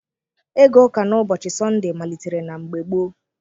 Ịga ụka n'ụbọchị Sọndee malitere na mgbe gboo.